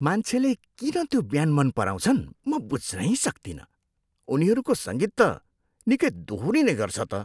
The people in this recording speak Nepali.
मान्छेले किन त्यो ब्यान्ड मन पराउँछन् म बुझ्नै सक्तिनँ। उनीहरूको सङ्गीत त निकै दोहोरिने गर्छ त।